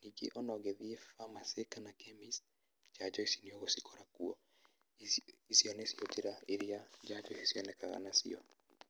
ningĩ ona ũngĩthiĩ pharmacy kana chemist, njanjo ici nĩũgũcikora kuo, ici icio nĩcio njĩra irĩa njanjo ici cionekaga nacio.